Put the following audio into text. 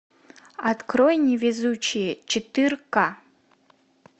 открой невезучие четырка